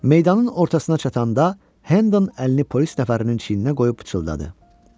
Meydanın ortasına çatanda Hədan əlini polis nəfərinin çiyninə qoyub pıçıldadı.